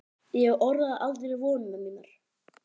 Ég orðaði aldrei vonir mínar.